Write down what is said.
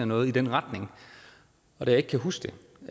noget i den retning og da jeg ikke kan huske